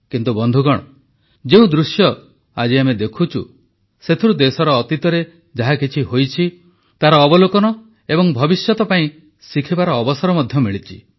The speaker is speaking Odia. କିନ୍ତୁ ବନ୍ଧୁଗଣ ଯେଉଁ ଦୃଶ୍ୟ ଆଜି ଆମେ ଦେଖୁଛୁ ସେଥିରୁ ଦେଶର ଅତୀତରେ ଯାହାକିଛି ହୋଇଛି ତାର ଅବଲୋକନ ଏବଂ ଭବିଷ୍ୟତ ପାଇଁ ଶିଖିବାର ଅବସର ମଧ୍ୟ ମିଳିଛି